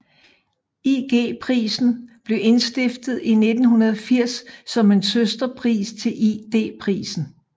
IG Prisen blev indstiftet i 1980 som en søsterpris til ID Prisen